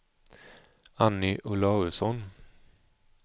Anny Olausson